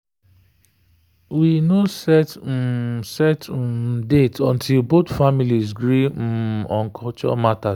we no set um set um date until both families gree um on culture matters.